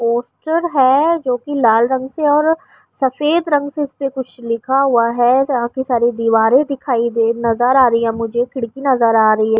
Poster ہے۔ جو کی لال رنگ سے اور سفید رنگ سے اس پر کچھ لکھا ہوا ہے۔ یہاں کی ساری دوارے دکھائی نظر آ رہی ہے مجھے، کھڑکی نظر آ رہی ہے مجھے --